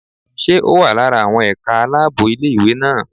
Ṣé ó wà lára àwọn ẹ̀ka aláàbò ilé ìwé náà?